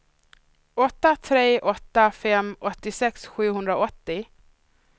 åtta tre åtta fem åttiosex sjuhundraåttio